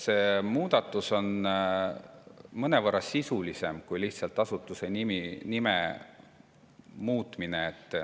See muudatus on mõnevõrra sisulisem kui lihtsalt asutuse nime muutmine.